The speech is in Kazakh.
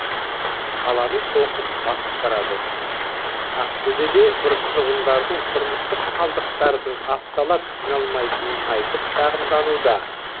қаланы қоқыс басып барады ақтөбеде тұрғындардың тұрмыстық қалдықтардың апталап жиналмайтынын айтып шағымдануда